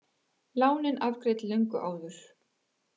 Lánin afgreidd löngu áður